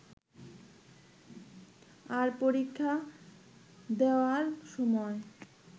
আর পরীক্ষা দেওয়ার সময়